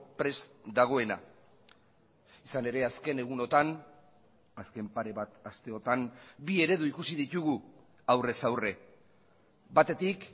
prest dagoena izan ere azken egunotan azken pare bat asteotan bi eredu ikusi ditugu aurrez aurre batetik